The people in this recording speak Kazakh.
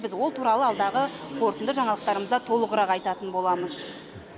біз ол туралы алдағы қорытынды жаңалықтарымызда толығырақ айтатын боламыз